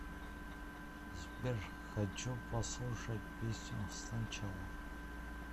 сбер хочу послушать песню сначала